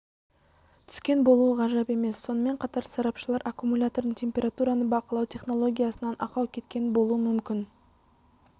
түскен болуы ғажап емес сонымен қатар сарапшылар аккумулятордың температураны бақылау технологиясынан ақау кеткен болуы мүмкін